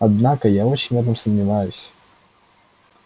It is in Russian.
однако я очень в этом сомневаюсь